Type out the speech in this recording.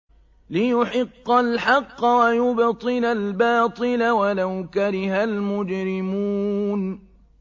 لِيُحِقَّ الْحَقَّ وَيُبْطِلَ الْبَاطِلَ وَلَوْ كَرِهَ الْمُجْرِمُونَ